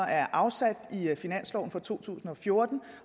er afsat i finansloven for to tusind og fjorten